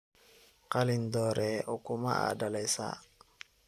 Qalin doreye ukuma aa dalesa.